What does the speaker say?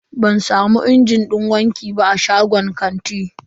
Ban samu injin din wanki ba a shagon kantin.